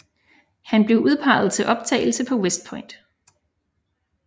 Han blev udpeget til optagelse på West Point